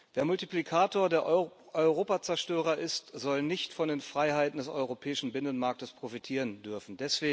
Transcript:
Wer Multiplikator der Europazerstörer ist, soll nicht von den Freiheiten des europäischen Binnenmarkts profitieren dürfen.